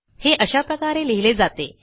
हे अशा प्रकारे लिहिले जाते